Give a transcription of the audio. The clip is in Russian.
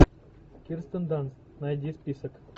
кирстен данст найди список